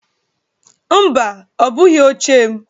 Mba, ọ bụghị oche m